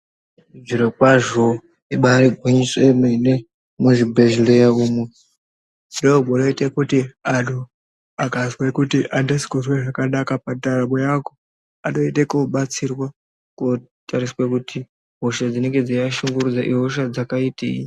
Zvirokwazvo ibaari gwinyiso yemene, muzvibhedhlera umwu ndomunoite kuti anhu akazwe kuti andisi kuzwe zvakanaka pandaramo yangu anoenda kobatsirwa, kotariswa kuti hosha dzinenge dzeiashungurudza ihosha dzakaitei.